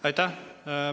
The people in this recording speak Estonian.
Aitäh!